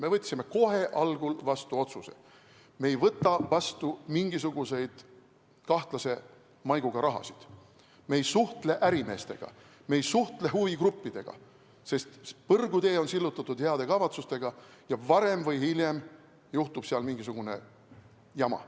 Me võtsime algul vastu otsuse, et me ei võta vastu mingisugust kahtlase maiguga raha, me ei suhtle ärimeestega, me ei suhtle huvigruppidega, sest põrgutee on sillutatud heade kavatsustega ja varem või hiljem juhtub mingisugune jama.